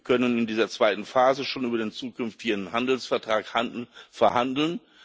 Wir können in dieser zweiten Phase schon über den zukünftigen Handelsvertrag verhandeln.